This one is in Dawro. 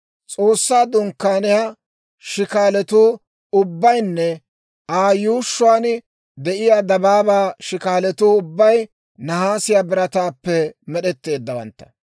S'oossaa Dunkkaaniyaa shikaalatuu ubbaynne Aa yuushshuwaan de'iyaa dabaabaa shikaalatuu ubbay nahaasiyaa birataappe med'etteeddawantta.